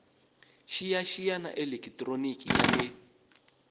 xiyaxiya ya elekitroniki ya le